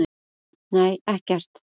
Nei, ekkert.